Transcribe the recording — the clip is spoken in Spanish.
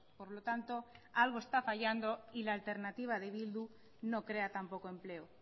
por lo tanto algo está fallando y la alternativa de bildu no crea tampoco empleo